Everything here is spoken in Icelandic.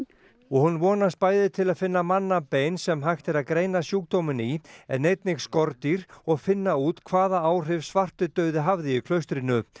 hún vonast bæði til að finna mannabein sem hægt er að greina sjúkdóminn í en einnig skordýr og finna út hvaða áhrif svartidauði hafði í klaustrinu